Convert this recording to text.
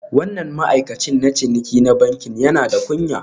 Wannan ma'aikacin na ciniki na bankin yana da kunya